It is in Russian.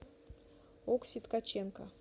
окси ткаченко